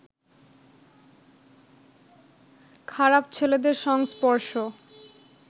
খারাপ ছেলেদের সংস্পর্শ